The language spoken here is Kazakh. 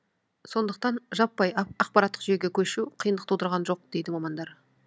сондықтан жаппай ақпараттық жүйеге көшу қиындық тудырған жоқ дейді мамандар